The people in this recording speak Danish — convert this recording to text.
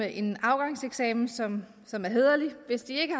en afgangseksamen som som er hæderlig hvis ikke